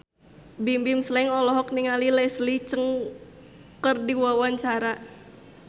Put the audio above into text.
Bimbim Slank olohok ningali Leslie Cheung keur diwawancara